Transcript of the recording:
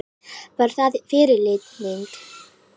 Var það fyrirlitning?